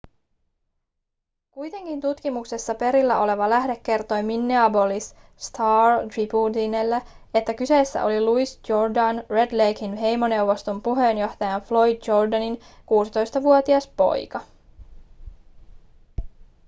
kuitenkin tutkimuksesta perillä oleva lähde kertoi minneapolis star-tribunelle että kyseessä oli louis jourdain red laken heimoneuvoston puheenjohtajan floyd jourdainin 16-vuotias poika